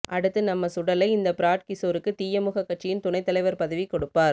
அடுத்து நம்ம சுடலை இந்த பிராட் கிசோருக்கு தீயமுக கட்சியின் துணை தலைவர் பதவி கொடுப்பார்